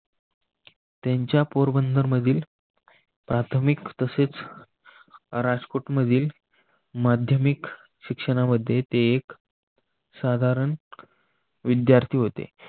त्यांच्या पोरबंदर मधील प्राथमिक तसेच राजकोट मधील माध्यमिक शिक्षणामध्ये ते एक साधारण विद्यार्थी होते.